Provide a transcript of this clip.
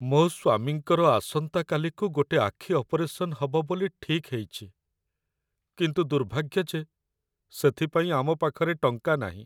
ମୋ' ସ୍ୱାମୀଙ୍କର ଆସନ୍ତାକାଲିକୁ ଗୋଟେ ଆଖି ଅପରେସନ୍ ହବ ବୋଲି ଠିକ୍ ହେଇଚି, କିନ୍ତୁ ଦୁର୍ଭାଗ୍ୟ ଯେ ସେଥିପାଇଁ ଆମ ପାଖରେ ଟଙ୍କା ନାହିଁ।